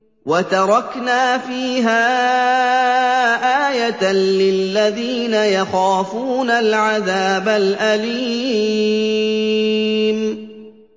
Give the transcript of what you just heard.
وَتَرَكْنَا فِيهَا آيَةً لِّلَّذِينَ يَخَافُونَ الْعَذَابَ الْأَلِيمَ